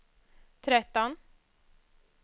tretton